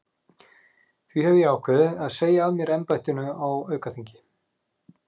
Því hef ég ákveðið að segja af mér embættinu á aukaþingi.